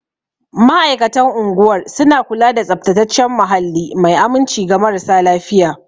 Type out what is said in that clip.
Ma'aikatan unguwar suna kula da tsaftataccen muhalli mai aminci ga marasa lafiya.